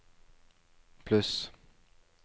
pluss